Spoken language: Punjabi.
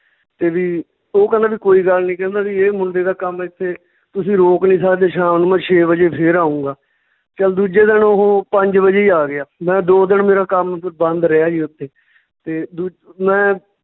ਤੇ ਵੀ ਓਹ ਕਹਿੰਦਾ ਵੀ ਕੋਈ ਗੱਲ ਨੀ ਕਹਿੰਦੇ ਵੀ ਇਹ ਮੁੰਡੇ ਦਾ ਕੰਮ ਏਥੇ ਤੁਸੀਂ ਰੋਕ ਨੀ ਸਕਦੇ ਸ਼ਾਮ ਨੂੰ ਛੇ ਵਜੇ ਫੇਰ ਆਉਂਗਾ, ਚੱਲ ਦੂਜੇ ਦਿਨ ਓਹ ਪੰਜ ਵਜੇ ਹੀ ਆ ਗਿਆ ਮੈਂ ਦੋ ਦਿਨ ਮੇਰਾ ਕੰਮ ਬੰਦ ਰਿਹਾ ਜੀ ਓਥੇ ਤੇ ਦੂ~ ਮੈਂ